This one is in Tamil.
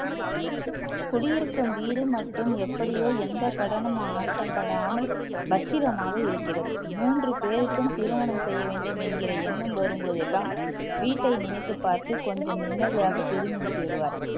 குடியிருக்கும் வீடு மட்டும் எப்படியோ எந்த கடனும் ஆட்டப்படாமல் பத்திரமாக இருக்கிறது மூன்று பேருக்கும் திருமணம் செய்ய வேண்டும் என்கிற எண்ணம் வரும்போதெல்லாம் வீட்டை நினைத்து பார்த்து கொஞ்சம் நிம்மதியாக பெருமூச்சு விடுவார்